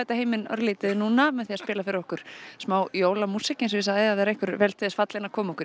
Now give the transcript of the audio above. heiminn örlítið núna með því að spila fyrir okkur smá jólamúsík eins og ég sagði ef það er einhver vel til þess fallinn að koma okkur í